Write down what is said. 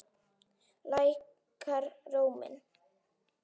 Lækkar róminn.